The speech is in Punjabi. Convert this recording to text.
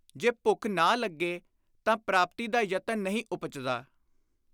ਜੇ ਭੁੱਖ ਨਾ ਲੱਗੇ ਤਾਂ ਪ੍ਰਾਪਤੀ ਦਾ ਯਤਨ ਨਹੀਂ ਉਪਜਦਾ।